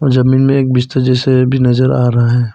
जमीन में एक बिस्तर जैसे भी नजर आ रहा है।